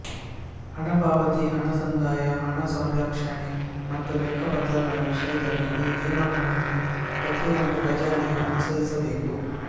ಹಣ ಪಾವತಿ ಹಣ ಸಂದಾಯ ಹಣ ಸಂರಕ್ಷಣೆ ಮತ್ತು ಲೆಕ್ಕ ಪತ್ರಗಳ ವಿಷಯದಲ್ಲಿ ಈ ನಿಯಮಗಳನ್ನು ಪ್ರತಿಯೊಂದು ಖಜಾನೆಯೂ ಅನುಸರಿಸಬೇಕು